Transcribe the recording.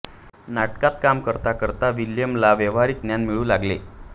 नाटकात काम करता करता विल्यमला व्यावहारिक ज्ञान मिळू लागले